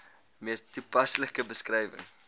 mees toepaslike beskrywing